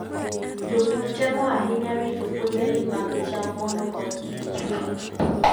Jopur temo ahinya rito puothegi mag cham mondo koth kik chue.